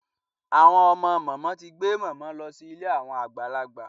Àwọn ọmọ màmá ti gbé màmá lọ sí ilé àwọn àgbàlagbà.